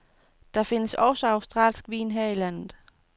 Der findes også australsk vin her i landet.